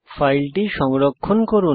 ফাইলটি সংরক্ষণ করুন